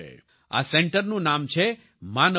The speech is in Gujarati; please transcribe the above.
આ સેન્ટરનું નામ છે માનવ મંદિર